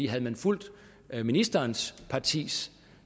havde man fulgt ministerens partis